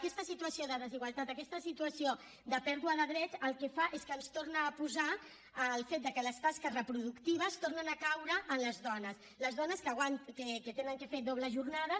aquesta situació de desigualtat aquesta situació de pèrdua de drets el que fa és que ens torna a posar el fet que les tasques reproductives tornen a caure en les dones les dones que han de fer dobles jornades